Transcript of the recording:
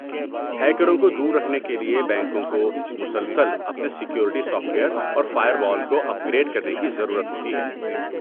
ہیکروں کو دور رکھنے کے لیے بینکوں کو مسلسل اپنے سیکورٹی سافٹ ویئر اور فائر وال کو اپگریڈ کرنے کی ضرورت ہوتی ہے۔